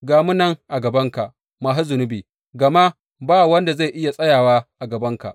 Ga mu nan a gabanka masu zunubi, gama ba wanda zai iya tsayawa a gabanka.